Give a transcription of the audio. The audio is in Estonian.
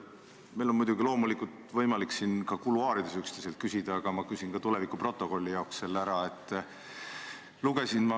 Meil on muidugi loomulikult võimalik ka kuluaarides üksteiselt küsida, aga ma küsin tuleviku ja stenogrammi huvides selle siin ära.